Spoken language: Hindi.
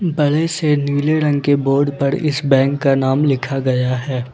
बड़े से नीले रंग के बोर्ड पर इस बैंक का नाम लिखा गया है।